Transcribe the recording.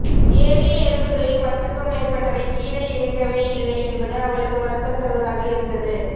ஏறிய எறும்புகளில் பத்துக்கும் மேற்பட்டவை கிழே இறங்கவேயில்லை என்பது அவளுக்கு வருத்தம் தருவதாக இருந்தது